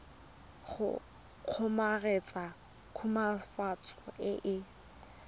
go kgomaretsa khutswafatso e e